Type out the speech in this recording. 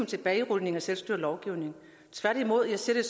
tilbagerulning af selvstyrelovgivningen tværtimod ser jeg